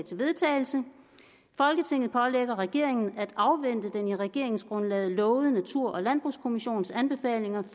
til vedtagelse folketinget pålægger regeringen at afvente den i regeringsgrundlaget lovede natur og landbrugskommissions anbefalinger